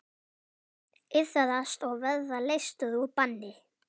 Iðrast og verða leystur úr banni.